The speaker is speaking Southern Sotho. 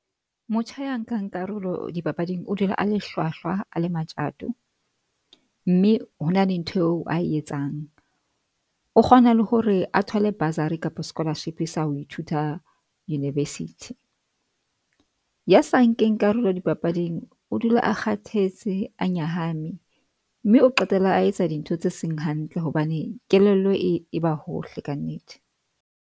Motjha ya nkang karolo dipapading o dula a le hlwahlwa, a le matjato mme ho na le ntho eo ae etsang. O kgona le hore a thole bursary kapa scholarship sa ho ithuta university, ya sa nkeng karolo dipapading. O dula a kgathetse a nyahame mme o qetela a etsa dintho tse seng hantle hobane kelello e ba hohle ka nnete.